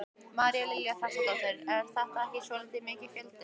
María Lilja Þrastardóttir: Er þetta ekki svolítið mikill fjöldi?